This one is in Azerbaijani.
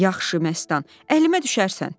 Yaxşı Məstan, əlimə düşərsən.